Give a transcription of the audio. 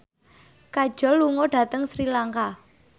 Kajol lunga dhateng Sri Lanka